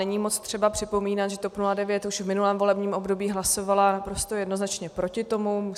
Není moc třeba připomínat, že TOP 09 už v minulém volebním období hlasovala naprosto jednoznačně proti tomu.